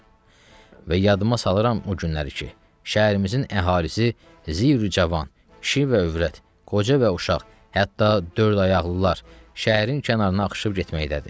Və yadıma salıram o günləri ki, şəhərimizin əhalisi zirü cavan, kişi və övrət, qoca və uşaq, hətta dördayaqlılar şəhərin kənarına axışıb getməkdədir.